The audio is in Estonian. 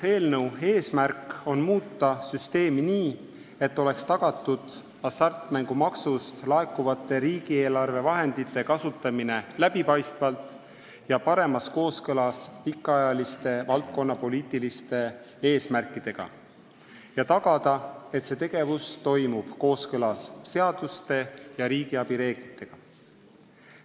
Eelnõu eesmärk on muuta süsteemi nii, et oleks tagatud hasartmängumaksust laekuvate riigieelarvevahendite kasutamine läbipaistvalt ja paremas kooskõlas pikaajaliste valdkonnapoliitiliste eesmärkidega ning tagada, et see tegevus toimub kooskõlas seaduste ja riigiabi reeglitega.